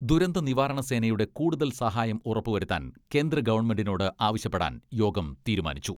ദുരന്തനിവാരണ സേനയുടെ കൂടുതൽ സഹായം ഉറപ്പുവരുത്താൻ കേന്ദ്ര ഗവൺമെന്റിനോട് ആവശ്യപ്പെടാൻ യോഗം തീരുമാനിച്ചു.